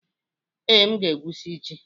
Ee, m ga-egwusi ji.